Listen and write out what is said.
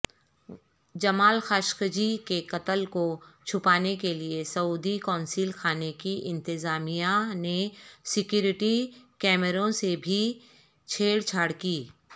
جمال Khashoggi کےقتل کو چھپانےکے لیےسعودی قونصل خانےکی انتظامیہ نےسیکیورٹی کیمروں سےبھی چھیڑ چھاڑ کی